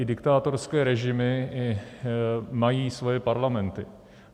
I diktátorské režimy mají svoje parlamenty.